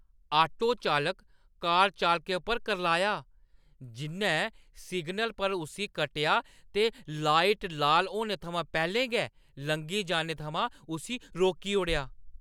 Auto चालक car चालकै पर करलाया, जि'न्नै सिग्नल पर उस्सी कट्टेआ ते लाइट लाल होने थमां पैह्‌लें गै लंघी जाने थमां उस्सी रोकी ओड़ेआ।